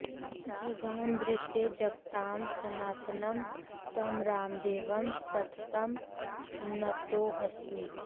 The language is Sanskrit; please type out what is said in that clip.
जघान भृत्यै जगतां सनातनं तं रामदेवं सततं नतोऽस्मि